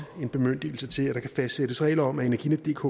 en bemyndigelse til at der kan fastsættes regler om at energinetdk